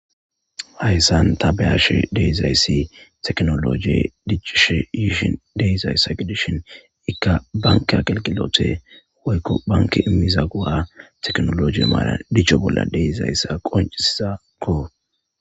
Hayssan taani be'ashshe de'izayssi tekkinolojje diccishe yiishe de'izassa giddishi ikka bankke aggelgilotte woyko bankkey immiza go'akko.